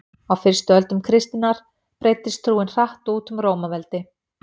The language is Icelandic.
á fyrstu öldum kristninnar breiddist trúin hratt út um rómaveldi